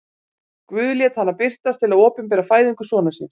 Guð lét hana birtast til að opinbera fæðingu sonar síns.